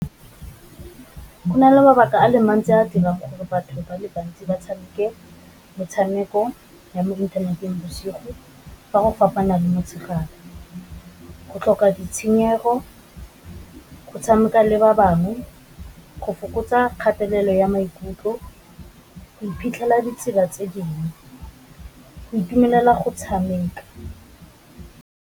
Go na le mabaka a le mantsi a dirang gore batho ba le bantsi ba tshameke metshameko ya mo inthaneteng bosigo fa go fapana le motshegare, go tlhoka ditshenyego, go tshameka le ba bangwe, go fokotsa kgatelelo ya maikutlo, iphitlhela ditsela tse dingwe, go itumelela go tshameka.